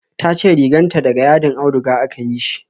Tace riganta da ga yadin auduga aka yi shi